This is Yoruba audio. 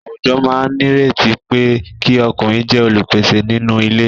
Àwùjọ máa nírètí pé kí ọkùnrin jẹ́ olùpèsè nínú ilé.